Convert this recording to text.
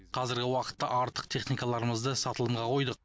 қазіргі уақытта артық техникаларымызды сатылымға қойдық